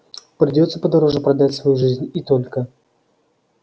придётся подороже продать свою жизнь и только